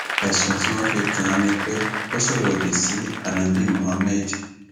ẹsùn tí wọn fi kàn án ni pé ó sọrọ òdì sí ánábì muhammed